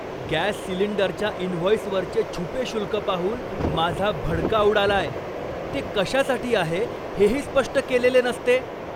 Gas सिलिंडरच्या इनव्हॉइसवरचे छुपे शुल्क पाहून माझा भडका उडालाय, ते कशासाठी आहे हेही स्पष्ट केलेले नसते.